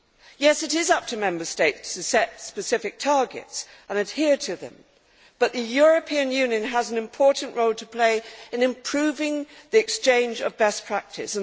Yes, it is up to Member States to set specific targets and adhere to them, but the European Union has an important role to play in improving the exchange of best practice.